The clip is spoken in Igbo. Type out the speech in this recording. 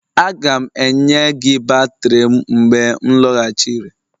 Aga m enye gị batrị m mgbe m lọghachiri